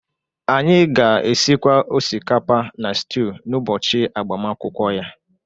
anyị ga-esikwa osikapa na stew n’ụbọchị agbamakwụkwọ ya